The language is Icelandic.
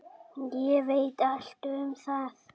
Ég veit allt um það.